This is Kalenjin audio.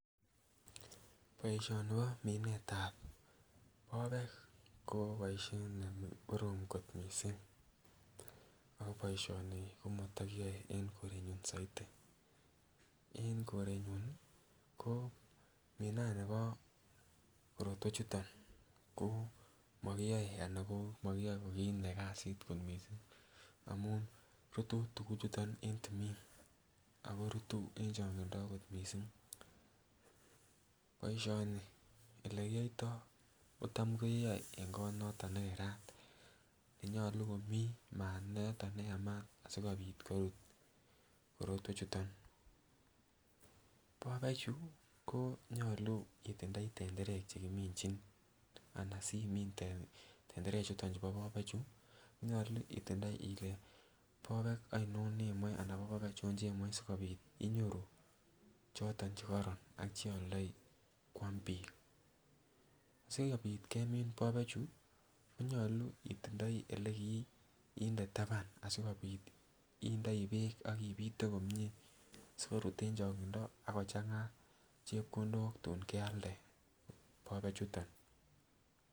Boisioni kominetab popek ko boisiet ne korom kot mising ago boisioni ko matakiyoe eng korenyu saiti. En korenyu ko minanibo korotwechuto ko makiyoe ana ko makiyoe ko kasit kot mising amun rutu tuguchuto en timinin ago rutu en chonginda agot mising. Boisioni olekiyoitoi ko tam keyoe eng kot noto ne kerat ne nyalu komi mat ne yamat asigopit korut korotwechuto. Popek chu ko nyalu itindoi tenderek che kiminjin ana simin tenderechuto chubo popechu, nyalu itindoi ile popek ainon nemoe anan popek achon chemoe sigopit inyoru choto che kororon cheoldoi kwam biik. Sigopit kemin popechu konyalu itindoi elekiinde taban asigopit indoi beek ak ipite komie sikorut en chongindo ak kochanga chepkondok tun kealde popechuto.